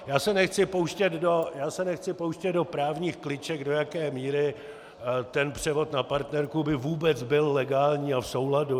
Já se nechci pouštět do právních kliček, do jaké míry ten převod na partnerku by vůbec byl legální a v souladu.